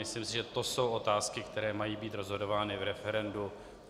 Myslím si, že to jsou otázky, které mají být rozhodovány v referendu.